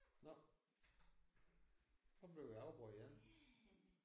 Nåh nu bliver vi afbrudt igen